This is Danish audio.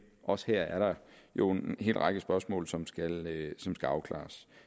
også her er der jo en hel række spørgsmål som skal afklares